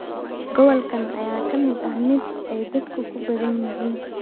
Gobolkan ayaa ah mid ay dadku ku badan yihiin.